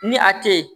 Ni a te yen